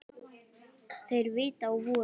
Þeir vita á vorið.